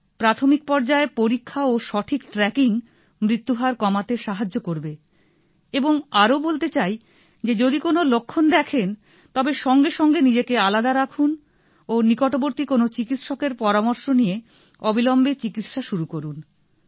প্রাথমিক পর্য্যায়ে পরীক্ষা ও সঠিক ট্র্যাকিং মৃত্যুহার কমাতে সাহায্য করবে এবং আরো বলতে চাই যে যদি কোন লক্ষণ দেখেন তবে সঙ্গে সঙ্গে নিজেকে আলাদা রাখুন ও নিকটবর্তী কোন চিকিৎসকের পরামর্শ নিয়ে অবিলম্বে চিকিৎসা শুরু করুন